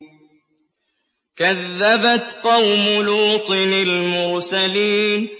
كَذَّبَتْ قَوْمُ لُوطٍ الْمُرْسَلِينَ